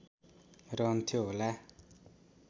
रहन्थ्यो होला